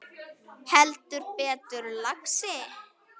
Heldur betur, lagsi